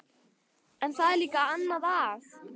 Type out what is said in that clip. En það er líka annað að.